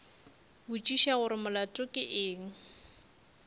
botšiša gore molato ke eng